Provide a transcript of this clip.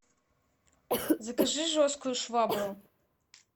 закажи жесткую швабру